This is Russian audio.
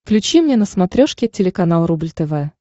включи мне на смотрешке телеканал рубль тв